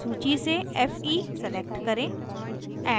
सूची से fe select करें